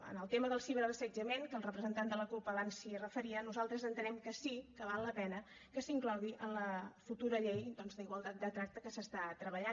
en el tema del ciberassetjament que el representant de la cup abans s’hi referia nosaltres entenem que sí que val la pena que s’inclogui en la futura llei doncs d’igualtat de tracte en què s’està treballant